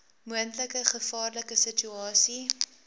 moontlike gevaarlike situasie